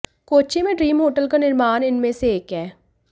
कोच्चि में dream hotel का निर्माण इनमें से एक है